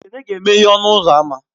Ekene ga-emeghe ọnụ ụzọ ámá